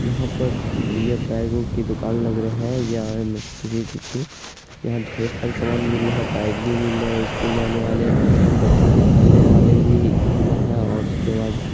यहाँ पर ये बैगों की दुकान लग रहे हैं या यहाँ ढेर सारे सामान मिल रहे हैं। बैग भी मिल रहे हैं स्कूल जाने वाले और बच्चो के खेलने वाले भी झूला है और उसके बाद--